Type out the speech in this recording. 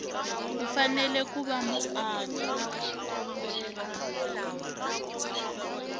u fanele ku va muaka